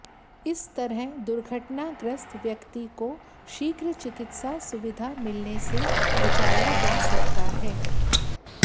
इस तरह दुर्घटना ग्रस्त व्यक्ति को शीघ्र चिकित्सा सुविधा मिलने से बचाया जा सकता है